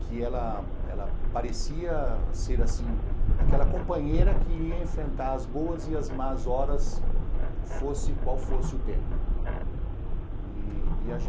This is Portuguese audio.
que ela ela parecia ser assim aquela companheira que ia enfrentar as boas e as más horas, fosse qual fosse o tempo e a